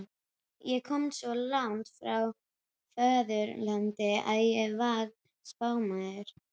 Ég komst svo langt frá föðurlandinu að ég varð spámaður.